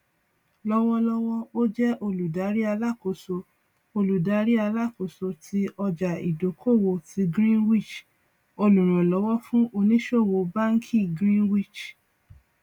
lọwọlọwọ ó jẹ olùdarí alákóso olùdarí alákóso tí ọjàìdókòwò ti greenwich olùrànlówó fún ònísòwò báńkì greenwich